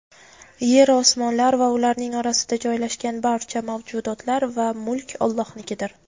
Yeru-osmonlar va ularning orasida joylashgan barcha mavjudotlar va mulk Allohnikidir.